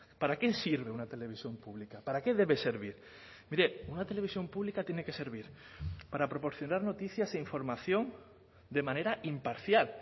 para qué sirve una televisión pública para qué debe servir mire una televisión pública tiene que servir para proporcionar noticias e información de manera imparcial